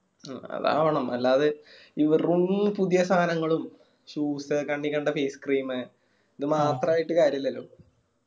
ഉം അതാവണം അല്ലാതെ ഈ വെറും പുതുയ സാനങ്ങളും shoes കണ്ണിൽ കണ്ട face cream ഇത് മാത്രായിട്ട് കാര്യല്ലല്ലോ.